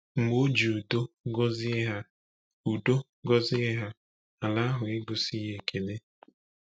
Mgbe o ji udo gọzie ha, udo gọzie ha, ala ahụ egosighị ekele.